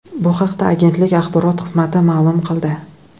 Bu haqda agentlik axborot xizmati ma’lum qildi .